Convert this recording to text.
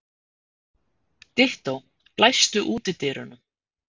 Dittó, læstu útidyrunum.